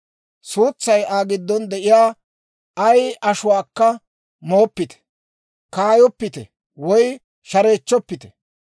« ‹Suutsay Aa giddon de'iyaa ay ashuwaakka mooppite. « ‹Kaayoppite woy shareechchoppite.